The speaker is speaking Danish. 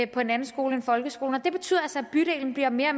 på en anden skole end folkeskolen og det betyder altså at bydelen bliver mere og